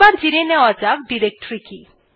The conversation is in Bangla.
এবার জেনে নেওয়া যাক ডিরেক্টরী কি